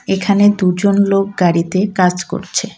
এখানে দুজন লোক গাড়িতে কাজ করছে।